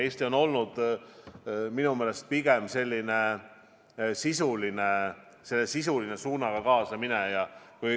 Eesti on olnud minu meelest pigem selline üldise suunaga kaasamineja.